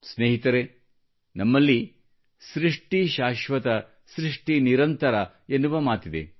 ಸ್ನೇಹಿತರೇ ನಮ್ಮಲ್ಲಿ ಸೃಷ್ಟಿ ಶಾಶ್ವತ ಸೃಷ್ಟಿ ನಿರಂತರ ಎನ್ನುವ ಮಾತಿದೆ